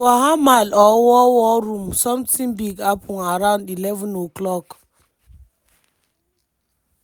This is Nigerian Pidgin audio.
for hamal or war war room sometin big happun around11:00.